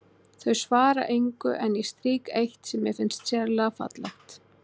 Þau svara engu en ég strýk eitt sem mér finnst sérlega fallegt.